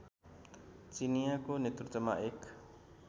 चिनियाँको नेतृत्वमा एक